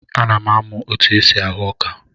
Ana m amụ otu esi ahụ ọka.